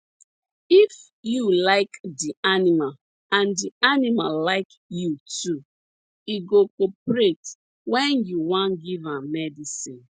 if you like di animal and di animal like you too e go cooperate when you wan give am medicine